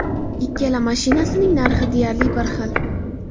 Ikkala mashinasining narxi deyarli bir xil.